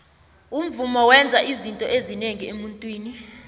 umvumo wenza izinto ezinengi emuntwini